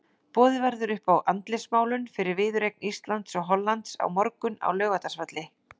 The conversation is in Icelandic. Boðið verður upp á andlitsmálun fyrir viðureign Íslands og Hollands á morgun á Laugardalsvelli.